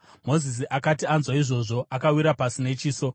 Mozisi akati anzwa izvozvo, akawira pasi nechiso.